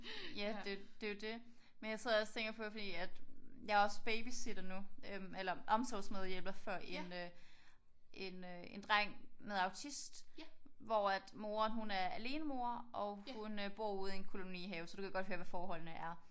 Ja det er jo det er jo det. Men jeg sidder også tænker på fordi at jeg er også babysitter nu eller omsorgsmedhjælper for en øh en dreng med autist hvor moderen hun er alenemor og hun bor ude i en kolonihave. Så du kan godt høre hvad forholdene er